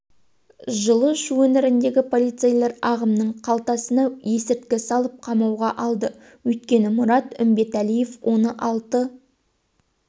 жылы шу өңіріндегі полицейлер ағамның қалтасына есірткі салып қамауға алды өйткені мұрат үмбетәлиев оны алты